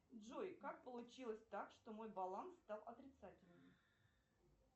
джой как получилось так что мой баланс стал отрицательным